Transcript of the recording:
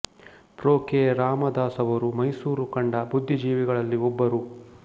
pro K Ramadas ಅವರು ಮೈಸೂರು ಕಂಡ ಬುದ್ಧಿಜೀವಿಗಳಲ್ಲಿ ಒಬ್ಬರು